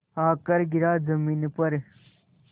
आकर गिरा ज़मीन पर